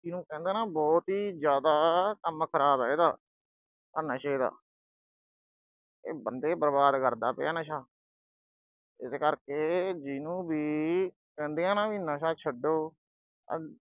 ਜੀਹਨੂੰ ਕਹਿੰਦੇ ਆ ਨਾ ਅਹ ਬਹੁਤ ਹੀ ਜ਼ਿਆਦਾ ਕੰਮ ਖਰਾਬ ਆ ਇਹਦਾ। ਆਹ ਨਸ਼ੇ ਦਾ ਇਹ ਬੰਦੇ ਬਰਬਾਦ ਕਰਦਾ ਪਿਆ ਨਸ਼ਾ, ਇਸ ਕਰਕੇ ਜੀਹਨੂੰ ਵੀ ਕਹਿੰਦੇ ਆ ਨਾ ਅਹ ਵੀ ਨਸ਼ਾ ਛੱਡੋ। ਆਹ